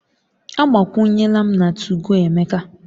Agbakwunyela m na 2go Emeka